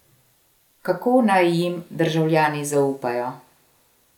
Kako naj jim državljani zaupajo?